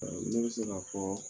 Ne bɛ se ka fɔ